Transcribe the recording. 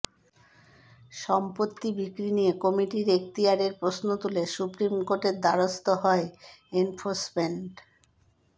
সম্পত্তি বিক্রি নিয়ে কমিটির এক্তিয়ারের প্রশ্ন তুলে সুপ্রিম কোর্টের দ্বারস্থ হয় এনফোর্সমেন্ট